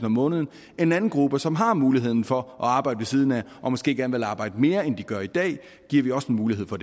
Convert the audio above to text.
om måneden og den anden gruppe som har muligheden for at arbejde ved siden af og måske gerne vil arbejde mere end de gør i dag giver vi også mulighed for